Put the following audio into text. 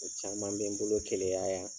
O caman bɛ n bolo keleya yan.